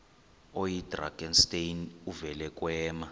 oyidrakenstein uvele kwema